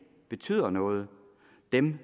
betyder noget dem